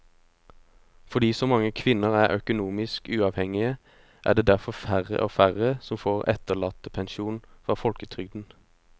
Fordi så mange kvinner er økonomisk uavhengige er det derfor færre og færre som får etterlattepensjon fra folketrygden.